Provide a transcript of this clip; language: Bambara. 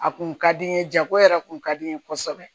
A kun ka di n ye jago yɛrɛ tun ka di n ye kosɛbɛ